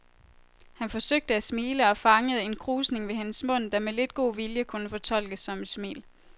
Han forsøgte at smile og fangede en krusning ved hendes mund, der med lidt god vilje kunne fortolkes som et smil.